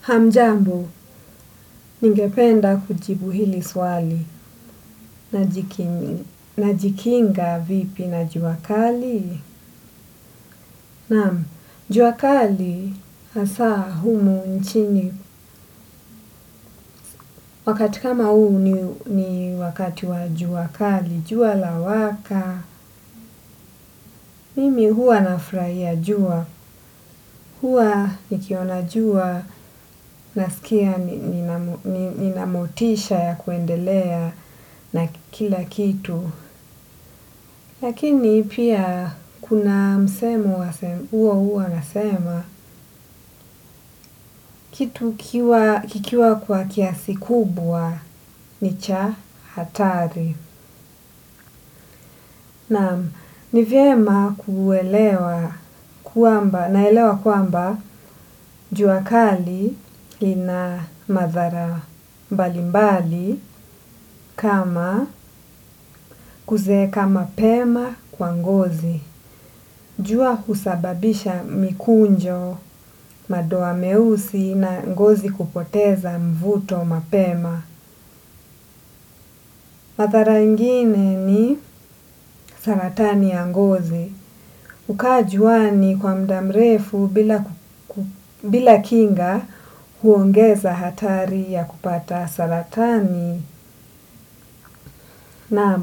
Hamjambo, ningependa kujibu hili swali najikinga vipi na jua kali. Naam, jua kali, hasa humu nchini, wakati kama huu ni wakati wa jua kali, jua lawaka, mimi huwa nafurahia jua, huwa nikiona jua, nasikia ninamotisha ya kuendelea na kila kitu. Lakini pia kuna msemo huwa unasema kitu kikiwa kwa kiasi kubwa ni cha hatari. Naam, nivyema kuelewa kwamba, naelewa kwamba jua kali lina madhara mbalimbali kama kuzeeka mapema kwa ngozi. Jua husababisha mikunjo, madoa meusi na ngozi kupoteza mvuto mapema. Madhara ingine ni saratani ya ngozi. Kukaa juani kwa muda mrefu bila kinga huongeza hatari ya kupata saratani na